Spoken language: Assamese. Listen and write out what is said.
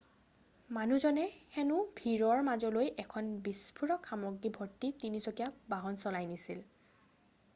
মানুহজনে হেনু ভিৰৰ মাজলৈ এখন বিস্ফোৰক সামগ্ৰী ভৰ্তি তিনি-চকীয়া বাহন চলাই নিছিল